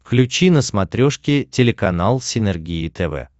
включи на смотрешке телеканал синергия тв